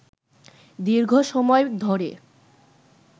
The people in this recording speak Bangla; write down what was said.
দীর্ঘ সময় ধরে